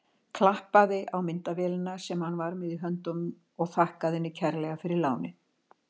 Klappaði á myndavélina sem hann var með í höndunum og þakkaði henni kærlega fyrir lánið.